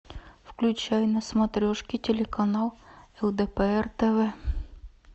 включай на смотрешке телеканал лдпр тв